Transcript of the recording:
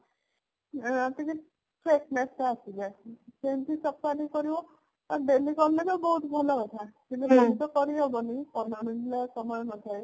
ଆଁ ଟିକେ freshness ଟା ଆସିଯାଏ ସେମତି ସପ୍ତହେଟେ କରିବ daily କଲେତ ବହୁତ ଭଲ କଥା କିନ୍ତୁ daily ତ କରିହବନି morning ରେ ସମୟ ନଥାଏ